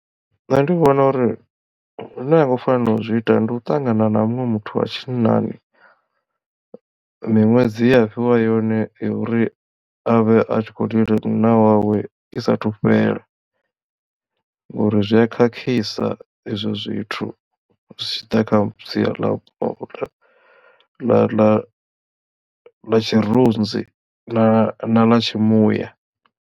Nṋe ndi vhona uri zwine ha ngo fanela u zwi ita ndi u ṱangana na muṅwe muthu wa tshinnani miṅwedzi yea fhiwa yone yo uri avhe a tshi kho lila munna wawe i saathu fhela ngori zwi a khakhisa izwo zwithu zwi tshi ḓa kha sia ḽa ḽa ḽa ḽa tshirunzi na ḽa tshimuya.